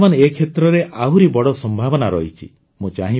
ବର୍ତ୍ତମାନ ଏ କ୍ଷେତ୍ରରେ ଆହୁରି ବଡ଼ ସମ୍ଭାବନା ରହିଛି